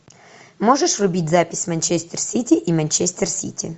можешь врубить запись манчестер сити и манчестер сити